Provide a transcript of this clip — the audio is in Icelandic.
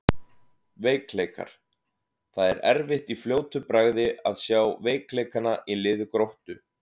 Veikleikar: Það er erfitt í fljótu bragði að sjá veikleikana í liði Gróttu.